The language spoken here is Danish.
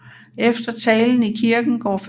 Efter talen i kirken går familien ud og sætter kisten i jorden